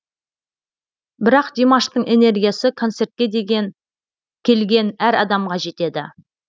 бірақ димаштың энергиясы концертке келген әр адамға жетеді